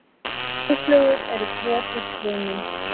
Blóðflögur eru brot úr frumum.